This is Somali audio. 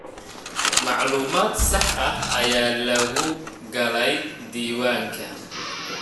Macluumad sax ah ayaa lagu galey diiwaanka.